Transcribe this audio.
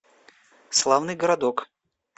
славный городок